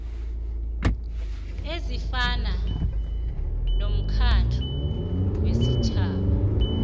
ezifana nomkhandlu wesitjhaba